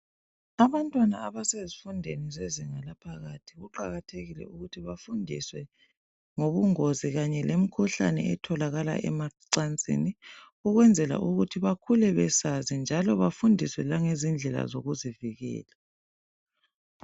Abantwana abasezifundweni zezinga laphakathi kuqakathekile ukuthi bafundiswe ngobungozi kanye lemikhuhlane etholakala emacansini langendlela zokuzivikela.